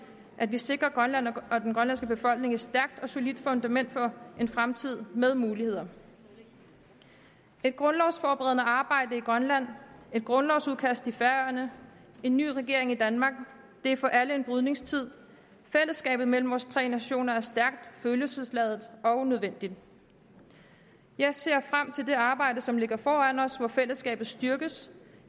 at vi sikrer grønland og den grønlandske befolkning et stærkt og solidt fundament for en fremtid med muligheder et grundlovsforberedende arbejde i grønland et grundlovsudkast i færøerne en ny regering i danmark det er for alle en brydningstid fællesskabet mellem vores tre nationer er stærkt følelsesladet og nødvendigt jeg ser frem til det arbejde som ligger foran os hvor fællesskabet styrkes